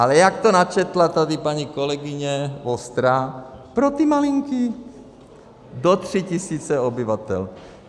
Ale jak to načetla tady paní kolegyně Vostrá, pro ty malinký do tří tisíc obyvatel.